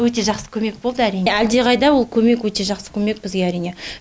өте жақсы көмек болды әрине әлде қайда ол көмек өте жақсы көмек бізге әрине